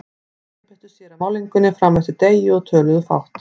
Þeir einbeittu sér að málningunni fram eftir degi og töluðu fátt.